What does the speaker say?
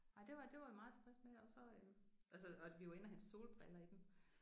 Ej det var det var vi meget tilfredse med og så øh altså og vi var inde og hente solbriller i den